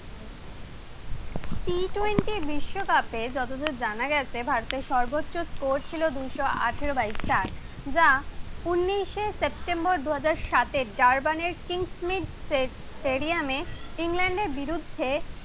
পূর্ববর্তী বিশ্বকাপে জানা গেছে ভারতের সর্বোচ্চ স্কোর দুইশ আঠারো বাই চার যা উনিশে সেপ্টেম্বর দুই হাজার সাতে জার্মানের কিংস্মেড স্টেডিয়ামে ইংল্যান্ডের বিরুদ্ধে